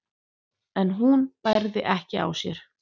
en hún bærði ekki á sér.